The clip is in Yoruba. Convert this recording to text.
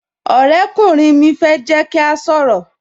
Ọ̀rẹ́ kùnrin mi fẹ́ jẹ́ kí a sọ̀rọ̀